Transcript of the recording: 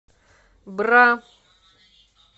бра